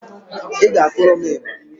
Ị ga-akụrụ m ịgbà